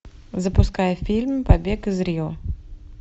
запускай фильм побег из рио